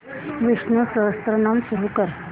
विष्णु सहस्त्रनाम सुरू कर